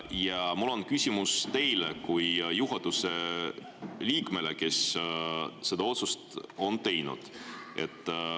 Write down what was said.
Ja mul on küsimus teile kui juhatuse liikmele, kes on selle otsuse teinud.